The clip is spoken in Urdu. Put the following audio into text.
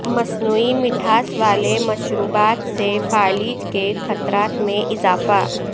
مصنوعی مٹھاس والے مشروبات سے فالج کے خطرات میں اضافہ